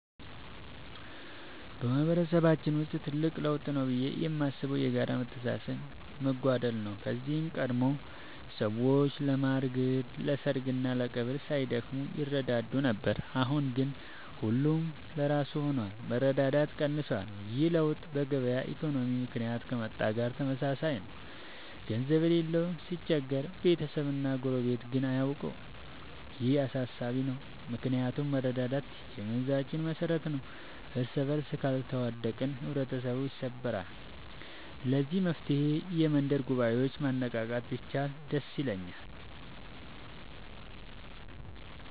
በማህበረሰባችን ውስጥ ትልቅ ለውጥ ብዬ የማስበው የጋራ መተሳሰብ መጓደል ነው። ከዚህ ቀደም ሰዎች ለማር ግርድ፣ ለሰርግና ለቀብር ሳይደክሙ ይረዳዱ ነበር። አሁን ግን ሁሉም ለራሱ ሆኗል፤ መረዳዳት ቀንሷል። ይህ ለውጥ በገበያ ኢኮኖሚ ምክንያት ከመጣ ጋር ተመሳሳይ ነው፤ ገንዘብ የሌለው ሲቸገር ቤተሰብና ጎረቤት ግን አያውቀውም። ይህ አሳሳቢ ነው ምክንያቱም መረዳዳት የመንዛችን መሰረት ነበር። እርስበርስ ካልተዋደቅን ህብረተሰቡ ይሰበራል። ለዚህ መፍትሔ የመንደር ጉባኤዎችን ማነቃቃት ቢቻል ደስ ይለኛል።